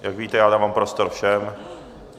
Jak víte, já dávám prostor všem.